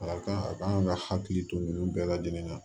A kan a kan ka hakili to nin bɛɛ lajɛlen na